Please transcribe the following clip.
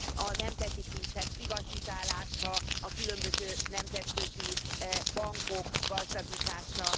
a nemzeti kincsek privatizálása, a különböző nemzetközi bankok gazdagítása.